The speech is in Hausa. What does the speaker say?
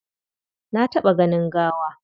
Na taɓa ganin gawa.